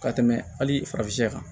Ka tɛmɛ hali farafinya kan